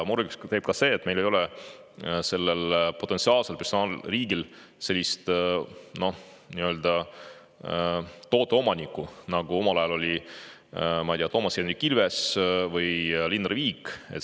Murelikuks teeb ka see, et sellel potentsiaalsel personaalriigil ei ole sellist tooteomanikku, nagu omal ajal oli, ma ei tea, Toomas Hendrik Ilves või Linnar Viik.